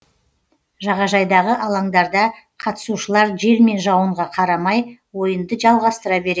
жағажайдағы алаңдарда қатысушылар жел мен жауынға қарамай ойынды жалғастыра береді